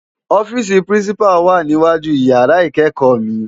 Òfisi Pirincipá wá ni iwájú iyàrá ikékò mi